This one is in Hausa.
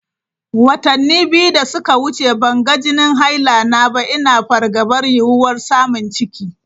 Watanni biyu da suka wuce ban ga jinin haila na ba, ina fargabar yiwuwar samun ciki.